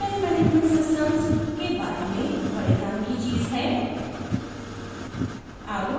यह content management systems विषयवस्तु प्रबंधन प्रणाली के बारे में बडे काम की चीज है